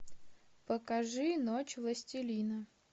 покажи ночь властелина